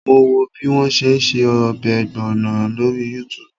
Mo wo bí wọ́n ṣe ń ṣe ọbẹ̀ ọ̀gbọ̀nọ̀ lórí Yútùùbù